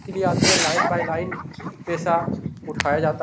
के लिए आते हैं लाइन बाई लाइन पैसा उठाया जाता --